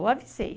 Eu avisei.